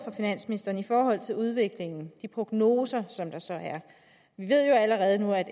finansministeren i forhold til udviklingen prognoser som der så er vi ved jo allerede nu at